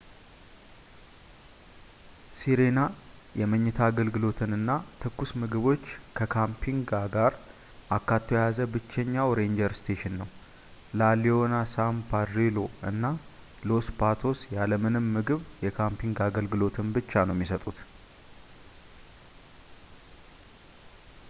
sirena የመኝታ አገልግሎትንና ትኩስ ምግቦች ከካምፒንግ ጋር አካቶ የያዘ ብቸኛው ranger station ነው la leona san pedrillo እና los patos ያለ ምንም ምግብ የካምፒንግ አገልግሎትን ብቻ ነው የሚሰጡት